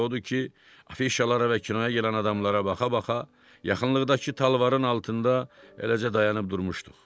Odur ki, afişalara və kinoya gələn adamlara baxa-baxa, yaxınlıqdakı talvarın altında eləcə dayanıb durmuşduq.